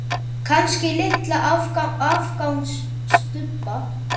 Kannski litla afgangs stubba.